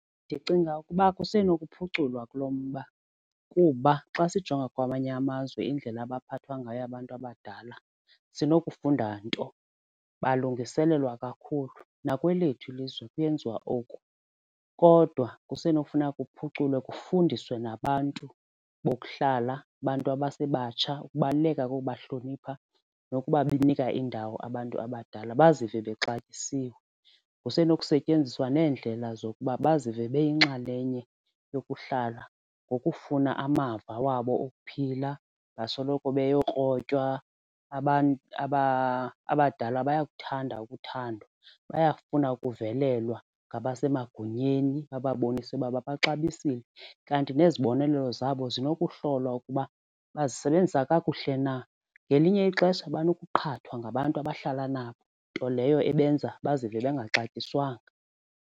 Ndicinga ukuba kusenokuphuculwa kulo mba kuba xa sijonga kwamanye amazwe indlela abaphathwa ngayo abantu abadala sinokufunda nto. Bayalungiselelwa kakhulu, nakwelethu ilizwe kuyenziwa oku kodwa kusenokufuneka kuphuculwe kufundiswe nabantu bokuhlala abantu abasebatsha ukubaluleka kokuba hlonipha nokuba benikwa indawo abantu abadala bazive bexatyisiwe. Kusenokusetyenziswa neendlela zokuba bazive beyinxalenye yokuhlala ngokufuna amava wabo okuphila, basoloko beyokrotywa abadala bayakuthanda ukuthandwa bayafuna ukuvelelwa ngabasemagunyeni bababonise ukuba babaxabisile. Kanti nezibonelelo zabo sinokuhlolwa ukuba bazisebenzisa kakuhle na. Ngelinye ixesha banokuqhathwa ngabantu abahlala nabo, nto leyo ebenza bazive bangaxatyiswanga.